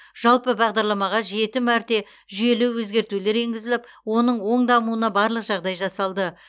жалпы бағдарламаға жеті мәрте жүйелі өзгертулер енгізіліп оның оң дамуына барлық жағдай жасалды